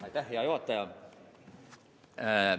Aitäh, hea juhataja!